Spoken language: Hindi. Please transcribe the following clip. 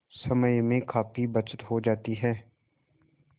समय में काफी बचत हो जाती है